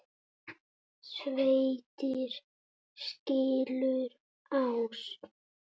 Sveitir skilur ás.